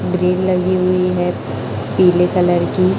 Grill लगी हुई है पीले कलर की।